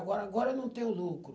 Agora agora eu não tenho lucro.